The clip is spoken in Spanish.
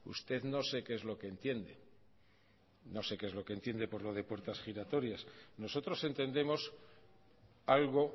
usted no sé qué es lo que entiende no sé qué es lo que entiende por lo de puertas giratorias nosotros entendemos algo